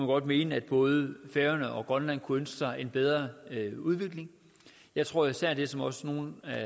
godt mene at både færøerne og grønland kunne ønske sig en bedre udvikling jeg tror at især det som også nogle af